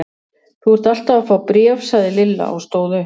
Þú ert alltaf að fá bréf sagði Lilla og stóð upp.